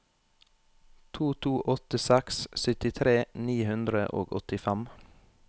to to åtte seks syttitre ni hundre og åttifem